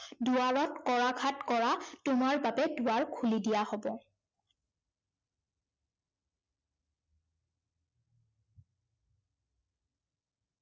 দুৱাৰত কৰাঘাত কৰা তোমাৰ বাবে দুৱাৰ খুলি দিয়া হব।